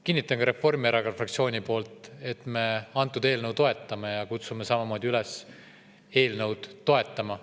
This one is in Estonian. Kinnitan ka Reformierakonna fraktsiooni poolt, et me antud eelnõu toetame ja kutsume kõiki samamoodi üles seda toetama.